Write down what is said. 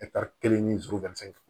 kelen ni duuru